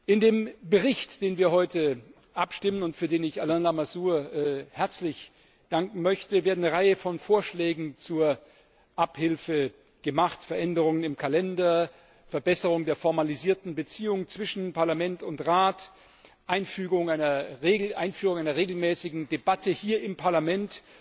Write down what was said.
In dem Bericht, den wir heute abstimmen und für den ich Alain Lamassoure herzlich danken möchte, wird eine Reihe von Vorschlägen zur Abhilfe gemacht Veränderungen im Kalender, Verbesserung der formalisierten Beziehungen zwischen Parlament und Rat, Einführung einer regelmäßigen Debatte hier im Parlament